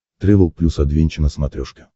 трэвел плюс адвенча на смотрешке